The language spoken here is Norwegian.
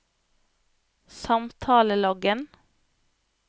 samtaleloggen